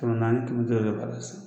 Tɔnɔ naani tigi dɔw yɛrɛ b'a la sisan